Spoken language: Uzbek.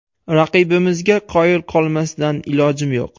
Raqibimizga qoyil qolmasdan ilojim yo‘q.